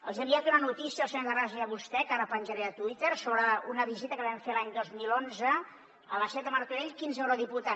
els hi he enviat una notícia al senyor terrades i a vostè que ara penjaré a twitter sobre una visita que vam fer l’any dos mil onze a la seat de martorell quinze eurodiputats